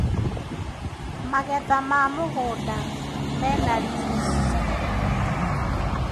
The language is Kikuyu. Magetha ma mũgunda mena riri mũno.